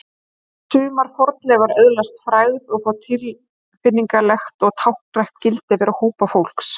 sumar fornleifar öðlast frægð og fá tilfinningalegt og táknrænt gildi fyrir hópa fólks